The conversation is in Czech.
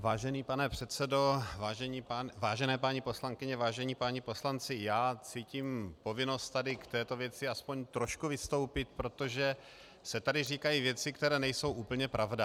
Vážený pane předsedo, vážené paní poslankyně, vážení páni poslanci, já cítím povinnost tady k této věci aspoň trošku vystoupit, protože se tady říkají věci, které nejsou úplně pravda.